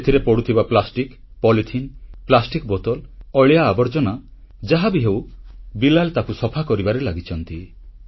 ସେଥିରେ ପଡ଼ୁଥିବା plastic polythene plastic ବୋତଲ ଅଳିଆ ଆବର୍ଜନା ଯାହାବି ହେଉ ବିଲାଲ ତାକୁ ସଫା କରିବାରେ ଲାଗିଛନ୍ତି